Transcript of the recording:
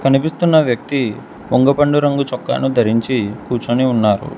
కనిపిస్తున్న వ్యక్తి వొంగ పండు రంగు చుక్కాను ధరించి కూర్చొని ఉన్నారు.